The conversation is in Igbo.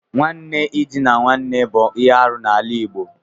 Nwanne idina nwanne bụ ihe arụ n'ala Igbo.